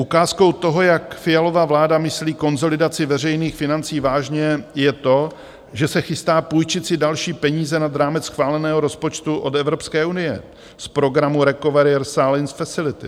Ukázkou toho, jak Fialova vláda myslí konsolidaci veřejných financí vážně, je to, že se chystá půjčit si další peníze nad rámec schváleného rozpočtu od Evropské unie z programu Recovery Science Facility.